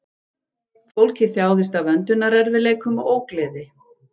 Fólkið þjáðist af öndunarerfiðleikum og ógleði